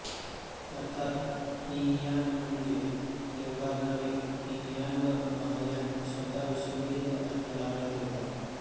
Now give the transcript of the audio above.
अर्थात हीनयान म्हणजे थेरवाद नव्हे हीनयान व महायान शब्दाविषयी विविध अर्थ लावण्यात येतात